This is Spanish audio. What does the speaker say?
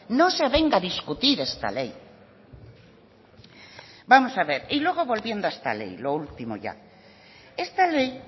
no se avenga a discutir esta ley vamos a ver y luego volviendo a esta ley lo último ya esta ley